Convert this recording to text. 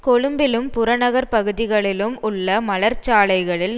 கொழும்பிலும் புறநகர் பகுதிகளிலும் உள்ள மலர்ச்சாலைகளில்